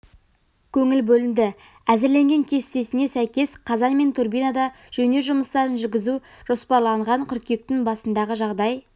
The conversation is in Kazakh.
көңіл бөлінді әзірленген кестесіне сәйкес қазан мен турбинада жөндеу жұмыстарын жүргізу жоспарланған қыркүйектің басындағы жағдай